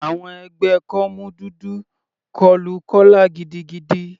Àwọn ẹgbẹ́ kọ́mú dúdú kọlu Kọla gidigidi.